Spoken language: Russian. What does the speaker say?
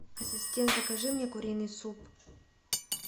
ассистент закажи мне куриный суп